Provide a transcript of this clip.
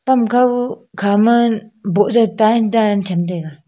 pam khaw khama boh jaw tine dan cham taiga.